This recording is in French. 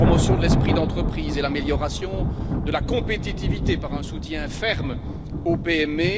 la promotion de l'esprit d'entreprise et l'amélioration de la compétitivité par un soutien ferme aux PME